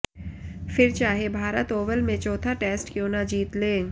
फिर चाहे भारत ओवल में चौथा टेस्ट क्यों न जीत ले